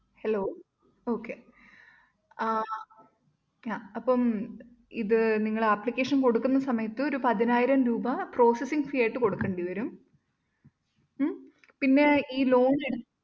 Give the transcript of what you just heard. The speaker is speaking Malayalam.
Hello Okay ആഹ് yeah അപ്പം ഇത് നിങ്ങൾ application കൊടുക്കുന്ന സമയത്ത് ഒരു പതിനായിരം രൂപ processing fee ആയിട്ട് കൊടുക്കേണ്ടി വരും ഉം പിന്നെ ഈ ലോണ്‍ എടുത്ത്